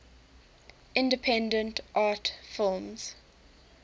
independent art films